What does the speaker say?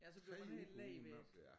3 uger på uden noget det er